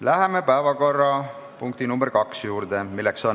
Läheme päevakorrapunkti nr 2 juurde.